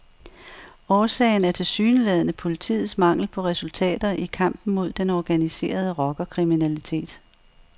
Årsagen er tilsyneladende politiets mangel på resultater i kampen mod den organiserede rockerkriminalitet.